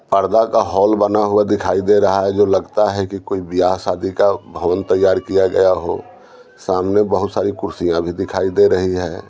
पर्दा का हॉल बना हुआ दिखाई दे रहा है जो लगता है कि कोई बियाह-शादी का भवन तैयार किया गया हो सामने बहुत सारी कुर्सियाँ भी दिखाई दे रही है।